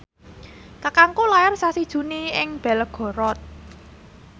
kakangku lair sasi Juni ing Belgorod